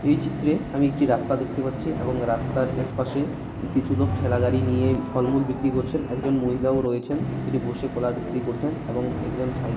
এই চিত্রে আমি একটি রাস্তা দেখতে পাচ্ছি এবং রাস্তার একপাশে কিছু লোক ঠেলাগাড়ি নিয়ে ফলমূল বিক্রি করছেন একজন মহিলা ও রয়েছেন তিনি বসে কলা বিক্রি করছেন এবং একজন সাই --